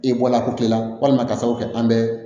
E bɔla ko kelen la walima ka sababu kɛ an bɛ